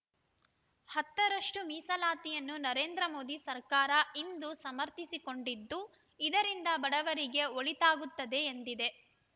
ಹತ್ತರಷ್ಟು ಮೀಸಲಾತಿಯನ್ನು ನರೇಂದ್ರ ಮೋದಿ ಸರ್ಕಾರ ಇಂದು ಸಮರ್ಥಿಸಿಕೊಂಡಿದ್ದು ಇದರಿಂದ ಬಡವರಿಗೆ ಒಳಿತಾಗುತ್ತದೆ ಎಂದಿದೆ